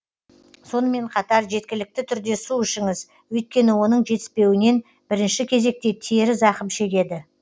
сонымен қатар жеткілікті түрде су ішіңіз өйткені оның жетіспеуінен бірінші кезекте тері зақым шегеді